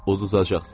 Uduzacaqsınız.